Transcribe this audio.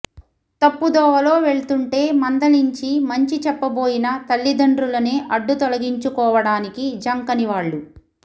తప్పుదోవలో వెళ్తుంటే మందలించి మంచి చెప్పబోయిన తల్లిదండ్రులనే అడ్డుతొలగించు కోవడానికి జంకని వాళ్లు